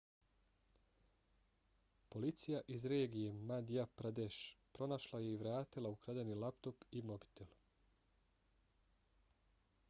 policija iz regije madhya pradesh pronašla je i vratila ukradeni laptop i mobitel